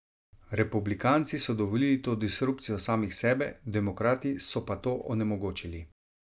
Republikanci so dovolili to disrupcijo samih sebe, demokrati so pa to onemogočili.